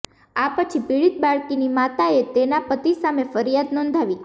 આ પછી પીડિત બાળકીની માતાએ તેના પતિ સામે ફરિયાદ નોંધાવી